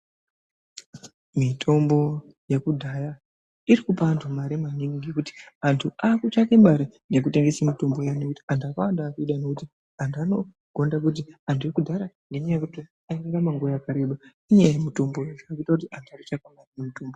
Mitombo yekudhaya iri kupa antu mare maningi ngekuti antu akutsvake mare nekutengese mitombo iyona ngekuti antu akawanda akuida ngekuti, antu anogonda kuti antu ekudhara airarama nguwa yakareba ngenyaya yemutombo iyi. Zvakuita kuti ade mitombo iyi.